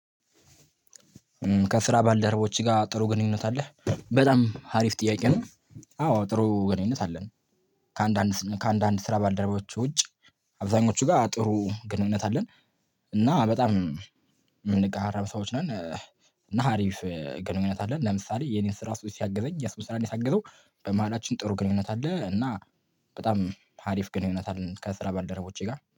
ከስራ ባልደረቦችህ ጋር ጥሩ ግንኙነት አለ? በጣም ሀሪፍ ጥያቄ ነው አዎ ጥሩ ግንኙነት አለን። ከአንዳንድ ከአንዳንድ ስራ ባልደረባዎች ውጭ አብዛኞቹ ጋር ጥሩ ግንኙነት አለን። እና በጣም የምንቀራረብ ሰዎች ነን። እና ሀሪፍ ግንኙነት አለን ለምሳሌ የኔን ስራ አሱ ሲያግዘኝ የሱን ስራ አኔ ሳግዘው በመሃላችን ጥሩ ግንኙነት አለ እና በጣም ሀሪፍ ግንኙነት አለን ከስራ ባልደረቦቼ ጋር።